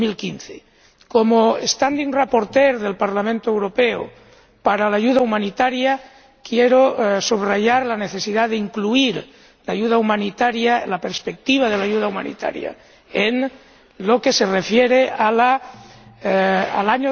2015. Como ponente permanente del Parlamento Europeo para la ayuda humanitaria, quiero subrayar la necesidad de incluir la ayuda humanitaria, la perspectiva de la ayuda humanitaria, en lo que se refiere al